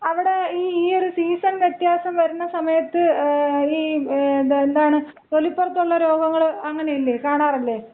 അവിടെ ഈ ഈ ഒരു സീസൺ വിത്യാസം വരണ സമയത്ത് ഈ എന്താണ് തൊലിപ്പൊറത്തുള്ള രോഗങ്ങള് അങ്ങനയില്ലേ, കാണാറില്ലേ?